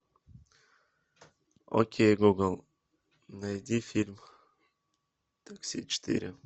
окей гугл найди фильм такси четыре